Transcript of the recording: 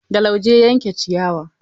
Da lauje ya yanke ciyawa.